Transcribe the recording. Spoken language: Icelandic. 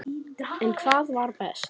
En hvað var best?